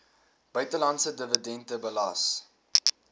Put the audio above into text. buitelandse dividende belas